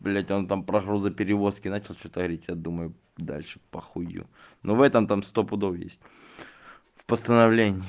блять он там про грузоперевозки начал что-то говорить я думаю дальше похую но в этом там сто пудов есть в постановлении